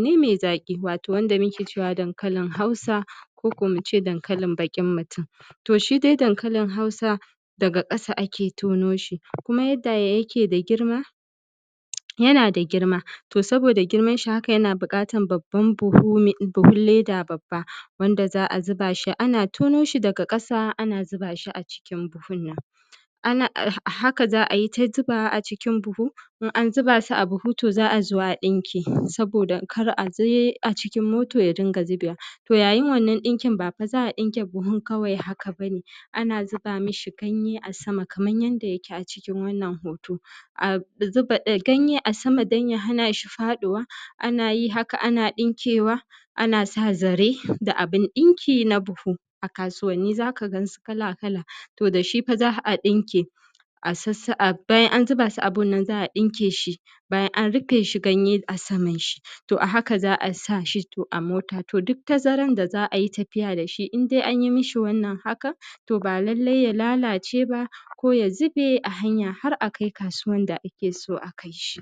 ne mai zaƙi – wato wanda muke cewa daŋkalin Hausa, ko kuma mu ce dankalin baƙin mutum. To, shi dai dankalin Hausa, daga ƙasa ake tono shi. Kuma yanda yake da girma, yana da girma. yana da girma. To, saboda girma, shi yana buƙata haƙa babban buhu, leda babba wanda za a zuba shi. Ana tono shi daga ƙasa, ana zuba shi a cikin buhu nan. Haka za ai ta zuba shi a cikin buhu. In an zuba shi a buhu, to za a zo a ɗiŋke saboda kar a je a cikin moto ya rinka zubewa. To, yayin wannan ɗinkin, ba fa za a ɗinke buhun ne kawai haka ba. Ana zuba mi shi ganye a sama. Kaman yanda yake a cikin wannan hoto, a zuba ganye a sama don ya hana shi faɗuwa. Ana yi haka, ana ɗiŋkewa, ana sa zare da ʔabun ɗiŋki na buhu a kasuwanni. Za ka gansu kala-kala. To, da shi fa za a ɗinke. Bayan an zuba shi a buhu nan, za a ɗiŋke shi. Bayan an rufe shi, ganye a saman shi, to a haka za a sa shi a mota. To, duk tasarar da za ai tafiya da shi, indai an mi shi wannan haka, to ba lalai ya lalace ba ko ya zube a hanya, har a kai kasuwan da ake so a kai shi.